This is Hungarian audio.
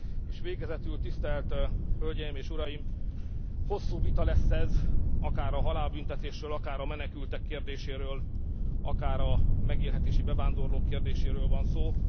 És végezetül tisztelt Hölgyeim és Uraim, hosszú vita lesz ez, akár a halálbüntetésről, akár a menekültek kérdéséről, akár a megélhetési bevándorlók kérdéséről van szó.